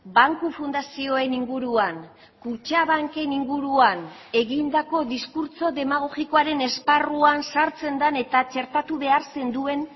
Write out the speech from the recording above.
banku fundazioen inguruan kutxabanken inguruan egindako diskurtso demagogikoaren esparruan sartzen den eta txertatu behar zenduen